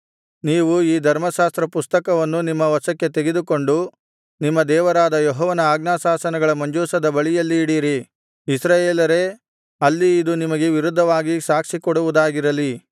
ನೀವು ಈ ಧರ್ಮಶಾಸ್ತ್ರ ಪುಸ್ತಕವನ್ನು ನಿಮ್ಮ ವಶಕ್ಕೆ ತೆಗೆದುಕೊಂಡು ನಿಮ್ಮ ದೇವರಾದ ಯೆಹೋವನ ಆಜ್ಞಾಶಾಸನಗಳ ಮಂಜೂಷದ ಬಳಿಯಲ್ಲಿ ಇಡಿರಿ ಇಸ್ರಾಯೇಲರೇ ಅಲ್ಲಿ ಇದು ನಿಮಗೆ ವಿರುದ್ಧವಾಗಿ ಸಾಕ್ಷಿಕೊಡುವುದಾಗಿರಲಿ